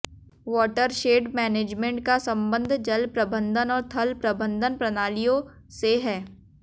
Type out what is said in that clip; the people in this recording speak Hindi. वॉटरशेड मैनेजमेंट का संबंध जल प्रबंधन और थल प्रबंधन प्रणालियों से है